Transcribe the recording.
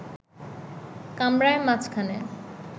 কামরার মাঝখানে